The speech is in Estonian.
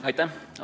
Aitäh!